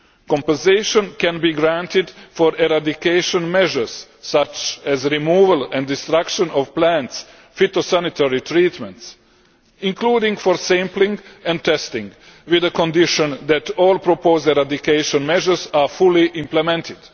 Compensation can be granted for eradication measures such as removal and destruction of plants, phytosanitary treatments, including for sampling and testing, on condition that all proposed eradication measures are fully implemented.